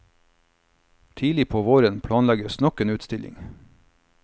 Tidlig på våren planlegges nok en utstilling.